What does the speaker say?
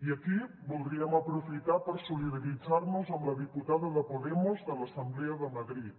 i aquí voldríem aprofitar per solidaritzar nos amb la diputada de podemos de l’assemblea de madrid